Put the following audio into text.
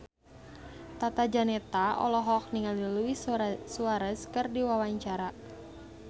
Tata Janeta olohok ningali Luis Suarez keur diwawancara